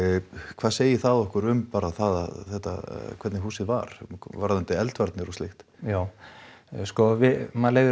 hvað segir það okkur um bara það að þetta hvernig húsið var varðandi eldvarnir og slíkt já sko maður leiðir